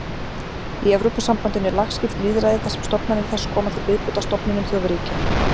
Í Evrópusambandinu er lagskipt lýðræði þar sem stofnanir þess koma til viðbótar stofnunum þjóðríkja.